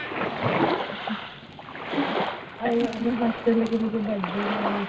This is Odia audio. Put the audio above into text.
ଆଉ ଆମେ hostelରେ କେମିତି birthday ମାନୁଥିଲେ